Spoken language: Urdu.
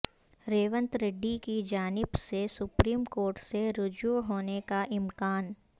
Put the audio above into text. ریونت ریڈی کی جانب سے سپریم کورٹ سے رجوع ہونے کاامکان